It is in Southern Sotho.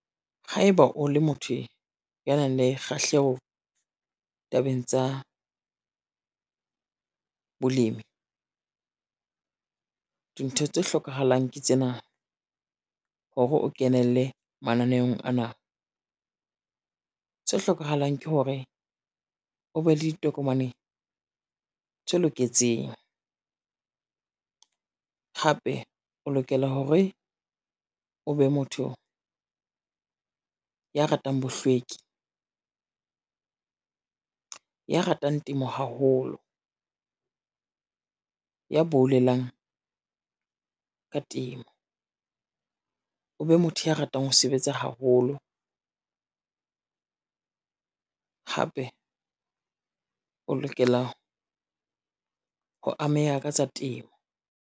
Haeba o le motho ya nang le kgahleho tabeng tsa, bolemi, dintho tse hlokahalang ke tsena hore o kenelle mananeong ana. Se hlokahalang ke hore o be le ditokomane tse loketseng, hape o lokela hore o be motho ya ratang bohlweki, ya ratang temo haholo, ya boulelang ka temo, o be motho ya ratang ho sebetsa haholo, hape o lokela ho ameha ka tsa temo.